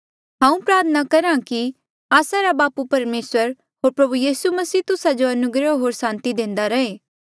हांऊँ प्रार्थना करहा कि आस्सा रा बापू परमेसर होर प्रभु यीसू मसीह तुस्सा जो अनुग्रह होर सांति देंदा रहे